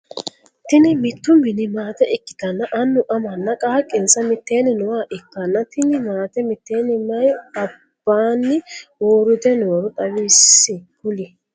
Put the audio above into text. Tinni mitu minni maate ikitanna Annu, amanna qaaqinsa miteenni nooha ikanna tinni maate miteenni mayi albaanni uurite nooro xawisi kuli?